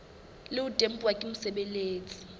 le ho tempuwa ke mosebeletsi